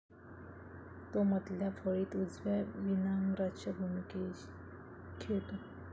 तो, मधल्या फळीत उजव्या विन्ग्राच्या भूमिकेत खेळतो.